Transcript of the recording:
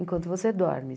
Enquanto você dorme.